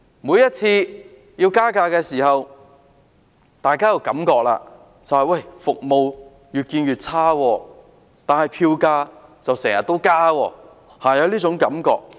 每次加價的時候，大家都覺得服務越來越差，但票價卻經常增加，是會有這種感覺的。